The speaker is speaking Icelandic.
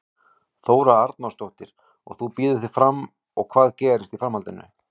Þóra Arnórsdóttir: Og þú býður þig fram og hvað gerist í framhaldinu?